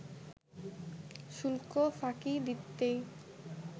শুল্ক ফাঁকি দিতেই